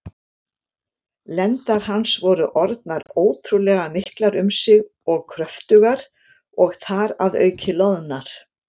Lendar hans voru orðnar ótrúlega miklar um sig og kröftugar, og þar að auki loðnar.